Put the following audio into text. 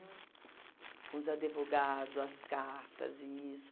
Com os advogado, as cartas e nisso.